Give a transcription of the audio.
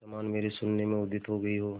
समान मेरे शून्य में उदित हो गई हो